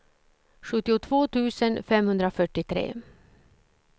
sjuttiotvå tusen femhundrafyrtiotre